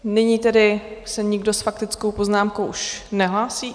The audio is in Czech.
Nyní tedy se nikdo s faktickou poznámkou už nehlásí.